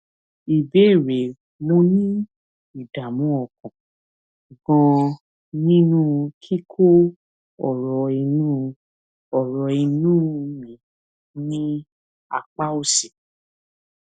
ìbéèrè mo ní ìdààmú ọkàn ganan nínú kíkó ọrọ inú ọrọ inú mi ní apá òsì